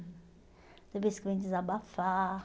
tem vez que vem desabafar.